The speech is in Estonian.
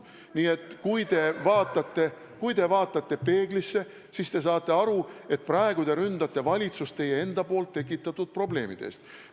Nii et kui te vaatate peeglisse, siis te saate aru, et praegu te ründate valitsust teie enda tekitatud probleemide pärast.